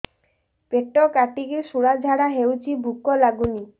ପେଟ କାଟିକି ଶୂଳା ଝାଡ଼ା ହଉଚି ଭୁକ ଲାଗୁନି